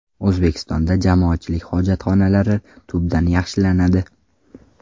O‘zbekistonda jamoatchilik hojatxonalari holati tubdan yaxshilanadi.